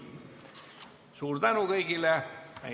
Suur tänu kõigile!